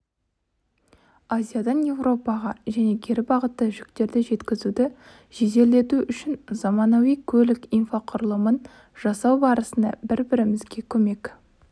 азиядан еуропаға және кері бағытта жүктерді жеткізуді жеделдету үшін заманауи көлік инфрақұрылымын жасау барысында бір-бірімізге көмек